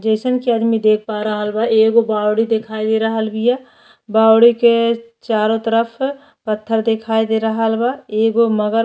जइसन कि आदमी देख पा रहलबा कि एगो बावड़ी दिखाई दे रहल बीया। बावड़ी के चारों तरफ पत्थर दिखाई दे रहल बा। एगो मगर --